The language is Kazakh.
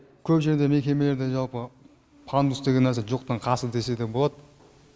көп жерде мекемелерде жалпы пандус деген әзір жоқтың қасы десе де болады